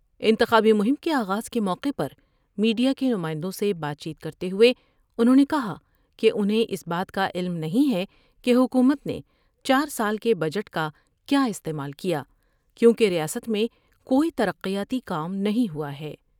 انتخابی مہم کے آغاز کے موقع پر میڈیا کے نمائندوں سے بات چیت کر تے ہوئے انہوں نے کہا کہ انہیں اس بات کا علم نہیں ہے کہ حکومت نے چار سال کے بجٹ کا کیا استعمال کیا کیونکہ ریاست میں کوئی ترقیاتی کام نہیں ہوا ہے ۔